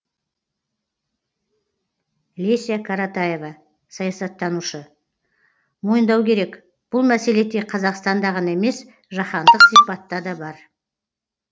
леся каратаева саясаттанушы мойындау керек бұл мәселе тек қазақстанда ғана емес жаһандық сипатта да бар